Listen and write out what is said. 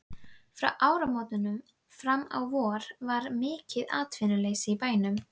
Frá áramótum fram á vor var mikið atvinnuleysi í bænum.